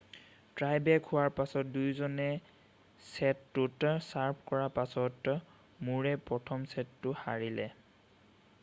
Tai break হোৱাৰ পাছত দুয়োজনে ছেটটোত ছাৰ্ভ কৰাৰ পাছতে মুৰেই প্ৰথম ছেটটো হাৰিলে